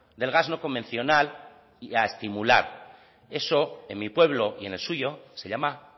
del gas no convencional y a estimular eso en mi pueblo y en el suyo se llama